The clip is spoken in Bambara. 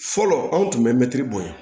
Fɔlɔ anw tun bɛ mɛtiri bonya